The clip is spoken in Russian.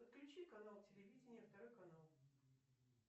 подключи канал телевидения второй канал